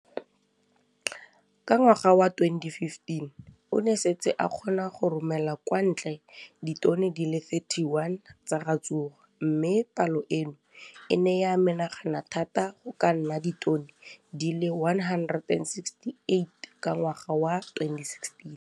Ka ngwaga wa 2015, o ne a setse a kgona go romela kwa ntle ditone di le 31 tsa ratsuru mme palo eno e ne ya menagana thata go ka nna ditone di le 168 ka ngwaga wa 2016.